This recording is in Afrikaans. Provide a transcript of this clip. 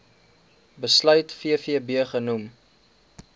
besluit vvb genoem